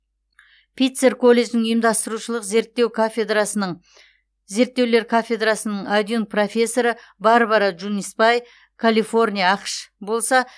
питцер колледжінің ұйымдастырушылық зерттеулер кафедрасының адъюнкт профессоры барбара джунисбай калифорния ақш болса